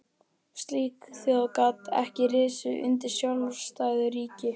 Slík þjóð gat ekki risið undir sjálfstæðu ríki.